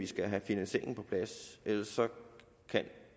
skal have finansieringen på plads ellers kan